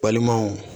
Balimaw